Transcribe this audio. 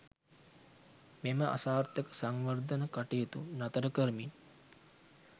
මෙම අසාර්ථක සංවර්ධන කටයුතු නතර කරමින්